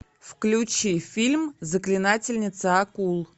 включи фильм заклинательница акул